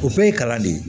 O bɛɛ ye kalan de ye